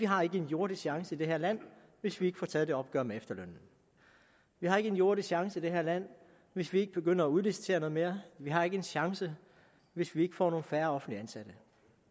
har en jordisk chance i det her land hvis vi ikke får taget et opgør med efterlønnen vi har ikke en jordisk chance i det her land hvis vi ikke begynder at udlicitere noget mere vi har ikke en chance hvis vi ikke får nogle færre offentligt ansatte